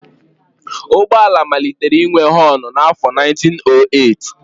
Ụgbọ ala malitere inwe họnụ n'afọ 1908